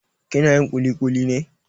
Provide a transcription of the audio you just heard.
Kina yin ƙuliƙuli ne?